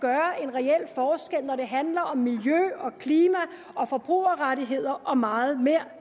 reel forskel når det handler om miljø og klima og forbrugerrettigheder og meget mere